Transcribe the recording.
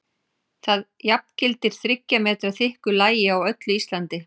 Það jafngildir þriggja metra þykku lagi á öllu Íslandi!